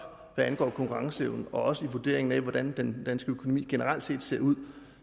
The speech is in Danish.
hvad angår konkurrenceevne og også i vurderingen af hvordan den danske økonomi generelt set ser ud